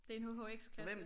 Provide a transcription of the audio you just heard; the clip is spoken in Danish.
Det en HHX klasse